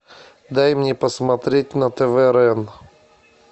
дай мне посмотреть на тв рен